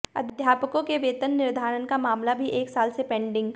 अध्यापकों के वेतन निर्धारण का मामला भी एक साल से पेंडिंग